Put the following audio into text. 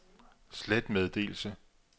slet meddelelse